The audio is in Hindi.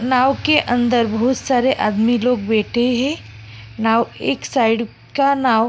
नाव के अंदर बहुत सारे आदमी लोग बैठे हैं नाव एक साइड का नाव --